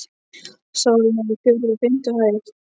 Sálin er á fjórðu og fimmtu hæð.